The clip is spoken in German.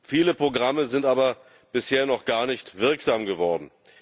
viele Programme sind aber bisher noch gar nicht wirksam geworden.